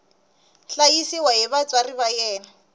hlayisiwa hi vatswari va yena